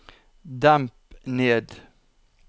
demp ned